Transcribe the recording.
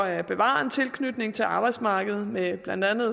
at bevare en tilknytning til arbejdsmarkedet med blandt andet